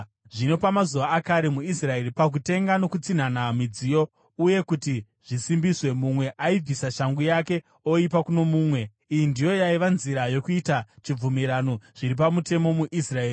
(Zvino pamazuva akare muIsraeri, pakutenga nokutsinhana midziyo uye kuti zvisimbiswe, mumwe aibvisa shangu yake oipa kuno mumwe. Iyi ndiyo yaiva nzira yokuita chibvumirano zviri pamutemo muIsraeri.)